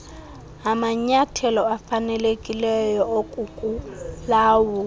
amanyathelo afanelekileyo okukulawula